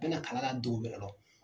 Bɛ na kalan na dugu wɛrɛ lɔ .